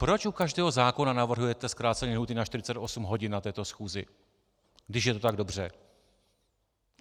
Proč u každého zákona navrhujete zkrácení lhůty na 48 hodin na této schůzi, když je to tak dobře!